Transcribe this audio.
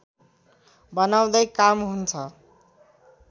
बनाउँदै काम हुन्छ